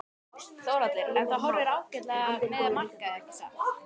Þórhallur: En það horfir ágætlega með markaði ekki satt?